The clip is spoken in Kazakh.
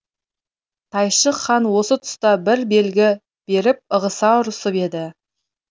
тайшық хан осы түста бір белгі беріп ығыса ұрысып еді